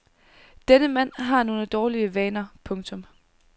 Denne mand har nogle dårlig vaner. punktum